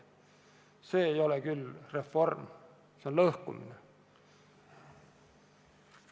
See ei ole reform, see on lõhkumine.